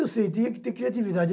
Eu sei, tinha que ter criatividade.